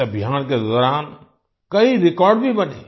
इस अभियान के दौरान कई रेकॉर्ड भी बने